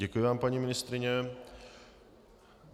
Děkuji vám, paní ministryně.